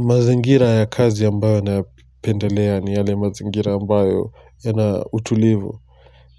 Mazingira ya kazi ambayo nayapendelea ni yale mazingira ambayo yana utulivu.